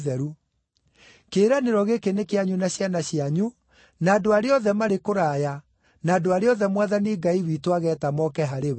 Kĩĩranĩro gĩkĩ nĩ kĩanyu na ciana cianyu, na andũ arĩa othe marĩ kũraya, na andũ arĩa othe Mwathani Ngai witũ ageeta moke harĩ we.”